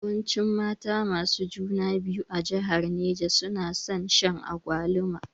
Yawancin mata masu juna biyu a jihar Neja nason shan agwaluma